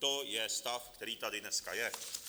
To je stav, který tady dneska je.